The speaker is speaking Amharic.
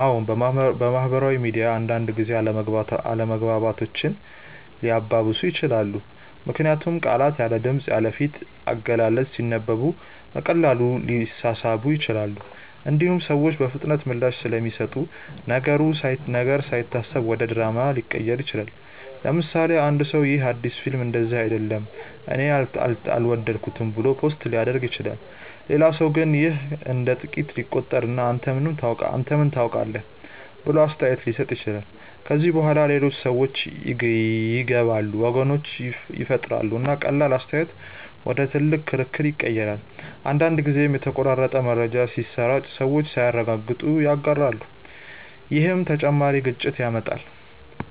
አዎን፣ ማህበራዊ ሚዲያ አንዳንድ ጊዜ አለመግባባቶችን ሊያባብስ ይችላል። ምክንያቱም ቃላት ያለ ድምፅ፣ ያለ ፊት አገላለጽ ሲነበቡ በቀላሉ ሊሳሳቡ ይችላሉ። እንዲሁም ሰዎች በፍጥነት ምላሽ ስለሚሰጡ ነገር ሳይታሰብ ወደ ድራማ ሊቀየር ይችላል። ለምሳሌ፣ አንድ ሰው “ይህ አዲስ ፊልም እንደዚህ አይደለም እኔ አልወደድኩትም” ብሎ ፖስት ሊያደርግ ይችላል። ሌላ ሰው ግን ይህን እንደ ጥቃት ሊቆጥር እና “አንተ ምን ታውቃለህ?” ብሎ አስተያየት ሊሰጥ ይችላል። ከዚያ በኋላ ሌሎች ሰዎች ይገባሉ፣ ወገኖች ይፈጠራሉ፣ እና ቀላል አስተያየት ወደ ትልቅ ክርክር ይቀየራል። አንዳንድ ጊዜም የተቆራረጠ መረጃ ሲሰራጭ ሰዎች ሳያረጋግጡ ይጋራሉ፣ ይህም ተጨማሪ ግጭት ያመጣል።